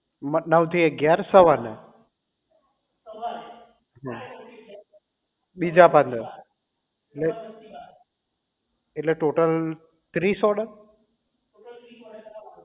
નવ થી અગિયાર સવાર ના બીજા પંદર ને એટલે ટોટલ ત્રીસ order